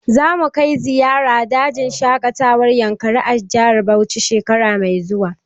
Za mu kai ziyara dajin shaƙatawar yankari a jihar Bauchi shekara mai zuwa